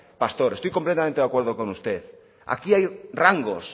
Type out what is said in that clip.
pastor estoy completamente de acuerdo con usted aquí hay rangos